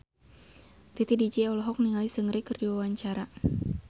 Titi DJ olohok ningali Seungri keur diwawancara